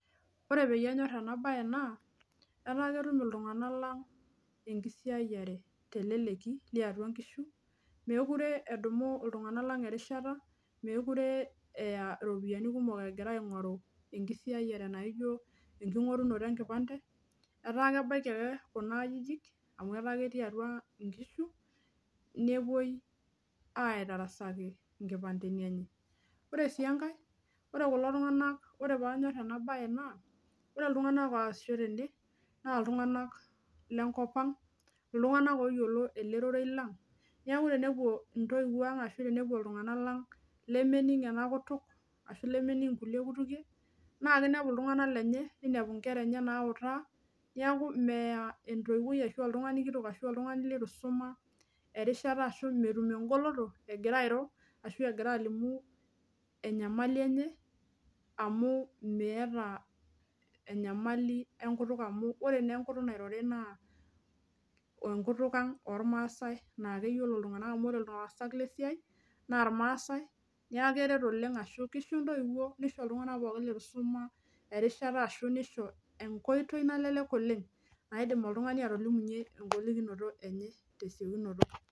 Ore peyie anyorr ena baye naa etaa ketum iltung'anak lang enkisiayiare teleleki liatua nkishu mekure edumu iltung'nak lang erishata mekure eya iropiyiani kumok egira aing'oru enkisiayiare naijio enking'orunoto enkipande etaa kebaiki ake kuna ajijik amu etaa ketii atua nkishu nepuoi aitarasaki inkipandeni enye ore sii enkae ore kulo tung'anak ore paanyorr ena baye naa ore iltung'anak oasisho tene naa iltung'anak lenkop ang iltung'anak oyiolo ele rorei lang niaku tenepuo intoiwuo ang ashu tenepuo iltung'anak lang lemening ena kutuk ashu lemening inkulie kutukie naa kinepu iltung'anak lenye neinepu inkera enye nautaa niaku meya entoiwuoi ashu oltung'ani kitok ashu oltung'ani litu isuma erishata ashu metum engoloto egira airo ashu egira alimu enyamali enye amu meeta enyamali enkutuk amu ore naa enkutuk nairori naa enkutuk ang ormaasae naakeyiolo iltung'anak amu ore ilaasak lesiai naa irmaasae niaku keret oleng ashu kisho intoiwuo nisho iltung'anak pookin letu isum erishata ashu nisho enkoitoi nalelelk oleng naidim oltung'ani atolimunyie engolikinoto enye tesiokinoto.